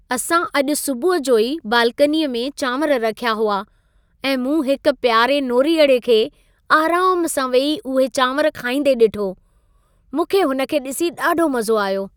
असां अॼु सुबुह जो ई बालकनीअ में चांवर रखिया हुआ ऐं मूं हिक प्यारे नोरीअड़े खे आराम सां वेही इहे चांवर खाईंदे ॾिठो। मूंखे हुन खे डि॒सी ॾाढो मज़ो आयो।